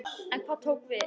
En hvað tók við?